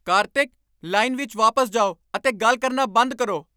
Kartik! Line ਵਿੱਚ ਵਾਪਸ ਜਾਓ ਅਤੇ ਗੱਲ ਕਰਨਾ ਬੰਦ ਕਰੋ।